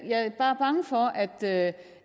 bare bange for at